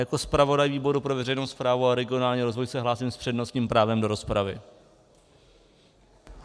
Jako zpravodaj výboru pro veřejnou správu a regionální rozvoj se hlásím s přednostním právem do rozpravy.